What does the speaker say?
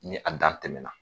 Ni a dan tɛmɛna,